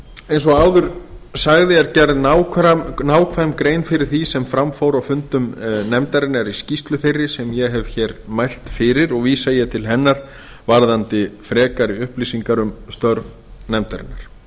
eins og áður sagði er gerð nákvæm grein fyrir því sem fram fór á fundum nefndarinnar í skýrslu þeirri sem ég hef mælt fyrir og vísa ég til hennar varðandi frekari upplýsingar um störf nefndarinnar